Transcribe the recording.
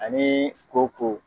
Anii ko ko